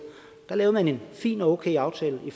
lavede man en fin og okay aftale i